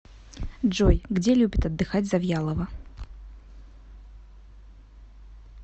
джой где любит отдыхать завьялова